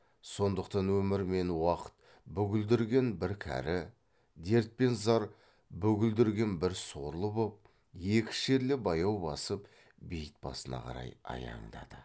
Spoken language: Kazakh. сондықтан өмір мен уақыт бүгілдірген бір кәрі дерт пен зар бүгілдірген бір сорлы боп екі шерлі баяу басып бейіт басына қарай аяңдады